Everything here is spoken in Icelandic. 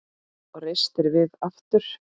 Og reistir við aftur.